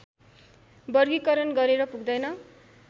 वर्गीकरण गरेर पुग्दैन